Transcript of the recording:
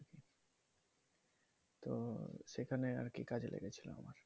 সেখানে আর কি কাজে লেগেছিলো আমার